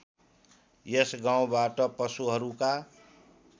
यस गाउँबाट पशुहरूका